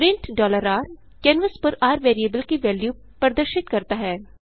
print r canvas पर र variable की वेन्यू प्रदर्शित करता है